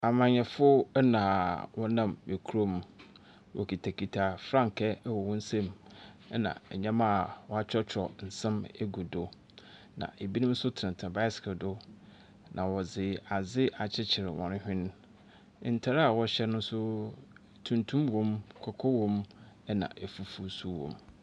Amanyɛfo na wɔnam kurom, wokitakita frankaa wɔ hɔn nsamu, na ndzɛmba a wɔakyerɛkyerɛw nsɛm egu do. Na binom so tsenatsena bicycle do na wɔdze adze akyekyer hɔn hwen. Ntar a wɔhyɛ no so, tuntum wɔ mu, kɔkɔɔ wɔ mu na efufuw nso wɔ mu.